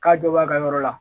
K'a jɔ b'a ka yɔrɔ la